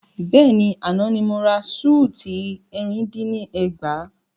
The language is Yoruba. Bẹ́ẹ̀ni, àná ni mo ra súùtì ẹ̀rin dín ní ẹgbàá.